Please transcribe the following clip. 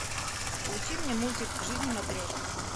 включи мне мультик жизнь матрешки